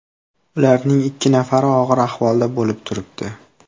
Ularning ikki nafari og‘ir ahvolda bo‘lib turibdi.